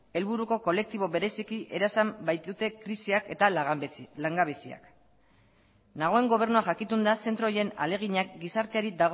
helburuko kolektibo bereziki erasan baitute krisiak eta langabeziak nagoen gobernua jakitun da zentro horien ahaleginak gizarteari